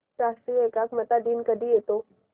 राष्ट्रीय एकात्मता दिन कधी येतो